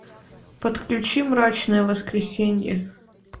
подключи мрачное воскресенье